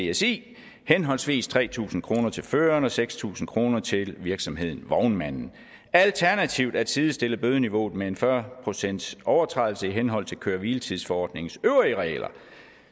vsi henholdsvis tre tusind kroner til føreren og seks tusind kroner til virksomheden eller vognmanden alternativt at sidestille bødeniveauet med en fyrre procentsovertrædelse i henhold til køre hvile tids forordningens øvrige regler